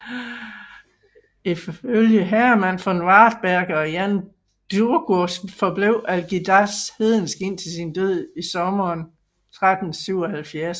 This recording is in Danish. Ifølge Hermann von Wartberge og Jan Długosz forblev Algirdas hedensk indtil sin død i sommeren 1377